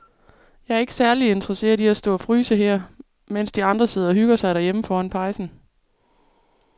Jeg er ikke særlig interesseret i at stå og fryse her, mens de andre sidder og hygger sig derhjemme foran pejsen.